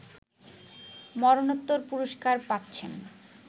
মরণোত্তর পুরস্কার পাচ্ছেন